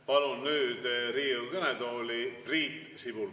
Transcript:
Palun nüüd Riigikogu kõnetooli Priit Sibula.